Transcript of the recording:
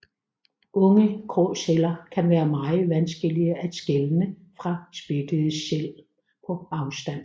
Unge gråsæler kan være meget vanskelige at skelne fra spættede sæl på afstand